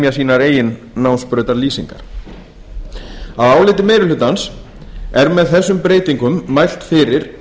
semja sínar eigin námsbrautarlýsingar að áliti meiri hlutans er með þessum breytingum mælt fyrir